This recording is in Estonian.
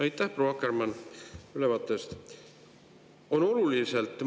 Aitäh, proua Akkermann, ülevaate eest!